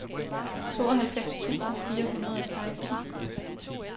tooghalvfems tusind fire hundrede og seksten